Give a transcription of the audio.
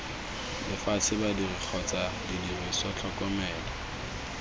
lefatshe badiri kgotsa didiriswa tlhokomelo